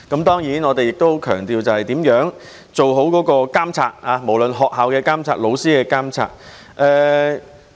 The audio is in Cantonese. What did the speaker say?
當然，我們亦很強調如何做好對學校或老師的監察。